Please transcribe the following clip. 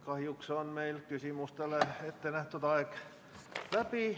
Kahjuks on meil küsimustele vastamiseks ette nähtud aeg läbi.